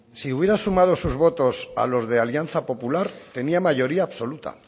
si hubiera sumado sus votos a los de alianza popular tenía mayoría absoluta